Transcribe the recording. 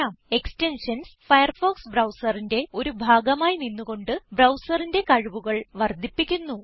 extensions Firefox ബ്രൌസറിന്റെ ഒരു ഭാഗമായി നിന്ന് കൊണ്ട് ബ്രൌസറിന്റെ കഴിവുകൾ വർദ്ധിപ്പിക്കുന്നു